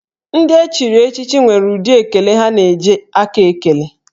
Ndị echiri echichi nwere ụdị ekele ha na-eji aka ekele